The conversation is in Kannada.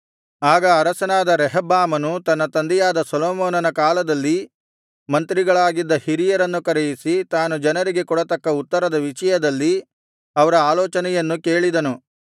ಆಗ ಅರಸನಾದ ರೆಹಬ್ಬಾಮನು ತನ್ನ ತಂದೆಯಾದ ಸೊಲೊಮೋನನ ಕಾಲದಲ್ಲಿ ಮಂತ್ರಿಗಳಾಗಿದ್ದ ಹಿರಿಯರನ್ನು ಕರೆಯಿಸಿ ತಾನು ಜನರಿಗೆ ಕೊಡತಕ್ಕ ಉತ್ತರದ ವಿಷಯದಲ್ಲಿ ಅವರ ಆಲೋಚನೆಯನ್ನು ಕೇಳಿದನು